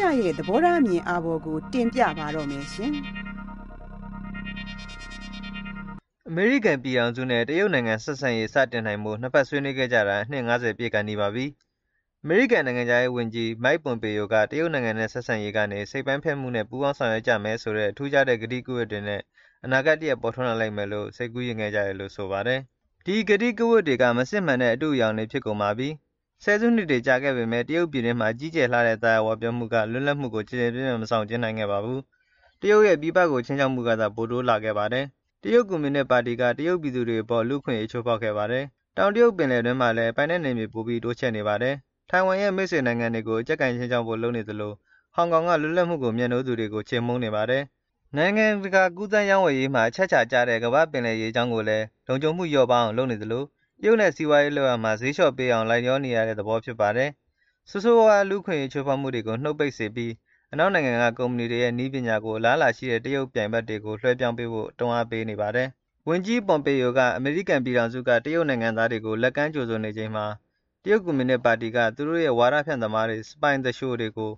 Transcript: ရရဲ့ သဘောထားအမြင်အာဘော်ကို တင်ပြပါမယ်။ အမေရိကန်ပြည်ထောင်စုနဲ့ တရုတ်နိုင်ငံဆက်ဆံရေး စတင်နိုင်ဖို့ နှစ်ဘက်ဆွေးနွေးခဲ့ကြတာ အနှစ် ၅၀ ပြည့်ကာနီးပါပြီ။ အမေရိကန်နိုင်ငံခြားရေးဝန်ကြီး Mike Pompeo က တရုတ်နိုင်ငံနဲ့ ဆက်ဆံရေးကနေ စိတ်ပိုင်းဖြတ်မှုနဲ့ ပူးပေါင်းဆောင်ရွက်ကြမယ်ဆိုတဲ့ ထူးခြားတဲ့ ကတိကဝတ်တွေနဲ့ အနာဂတ်တရပ်ပေါ်ထွန်းလာလိမ့်မယ်လို့ စိတ်ကူးယဉ်ခဲ့ကြတယ်လို့ ဆိုပါတယ်။ ဒီကတိကဝတ်တွေက မစစ်မှန်တဲ့ အတုတွေဖြစ်ကုန်ပါပြီ။ ၁၀ စုနှစ်တွေကြာခဲ့ပေမဲ့ တရုတ်ပြည်တွင်းမှာ ကြီးကျယ်လှတဲ့ သာယာဝပြောမှုက လွပ်လပ်မှုကို ကျယ်ကျယ်ပြန့်ပြန့် မဆောင်ကျဉ်းနိုင်ခဲ့ပါဘူး။ တရုတ်ရဲ့ ပြည်ပကို ခြိမ်းခြောက်မှုကသာ ပိုတိုးလာခဲ့ပါတယ်။ တရုတ်ကွန်မြူနစ်ပါတီက တရုတ်ပြည်သူတွေအပေါ် လူ့အခွင့်အရေးချိုးဖေါက်ခဲ့ပါတယ်။ တောင်တရုတ်ပင်လယ်တွင်းမှာလည်း ပိုင်နက်နယ်မြေပိုပြီး တိုးချဲ့နေပါတယ်။ထိုင်ဝမ်ရဲ့ မိတ်ဆွေနိုင်ငံတွေကို အကျပ်ကိုင်ခြိမ်းခြောက်ဖို့ လုပ်နေသလို ဟောင်ကောင်က လွတ်လပ်မှုကိုမြတ်နိုးသူတွေကို ချေမှုန်းနေပါတယ်။ နိုင်ငံတကာကူးသန်းရေးဝယ်ရေးမှာ အချက်အခြာကျတဲ့ ကမ္ဘာ့ပင်လယ်ရေကြောင်းကိုလည်း လုံခြုံမှုလျော့ပါးအောင် လုပ်နေသလို တရုတ်နဲ့ စီးပွားရေးလုပ်ရာမှာ ဈေးလျှော့ပေးအောင်လိုက်လျောနေရတဲ့ သဘောဖြစ်နေပါတယ်။ ဆိုးဆိုးဝါးဝါး လူ့အခွင့်အရေးချိုးဖေါက်မှုတွေကိုနုတ်ပိတ်စေပြီး၊ အနောက်နိုင်ငံက ကုမ္မဏီတွေရဲ့ နည်းပညာတွေကို အလားအလာရှိတဲ့ တရုတ်ပြိုင်ဘက်တွေကို လွှဲပြောင်းပေးဖို့ တွန်းအားပေးပေါတယ်။ ဝန်ကြီး Pompeo က အမေရိကန်ပြည်ထောင်စုက တရုတ်နိုင်ငံသားတွေကို လက်ကမ်းကြိုဆို နေချိန်မှာ တရုတ်ကွန်မြူနစ်ပါတီက သူတို့ရဲ့ ဝါဒဖြန့်သမားတွေ၊ စပိုင် သူလျှိုတွေ ကို